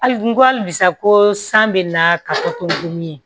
Hali n ko hali bi sa ko san bɛna ka fɔ ko n dimi ye